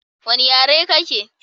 Wanna yare kake?